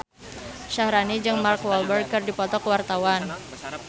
Syaharani jeung Mark Walberg keur dipoto ku wartawan